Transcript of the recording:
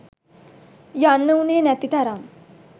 යන්න උනේ නැති තරම්